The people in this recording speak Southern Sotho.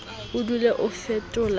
o dule o fetola ka